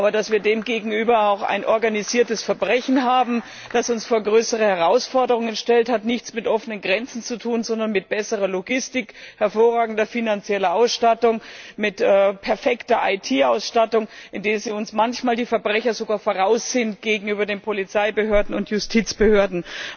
Aber dass wir demgegenüber auch ein organisiertes Verbrechen haben, das uns vor größere Herausforderungen stellt, hat nichts mit offenen Grenzen zu tun, sondern mit besserer Logistik, hervorragender finanzieller Ausstattung, mit perfekter IT Ausstattung, in der uns manchmal die Verbrecher sogar voraus sind gegenüber den Polizeibehörden und Justizbehörden.